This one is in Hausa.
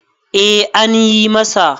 eh an yi masa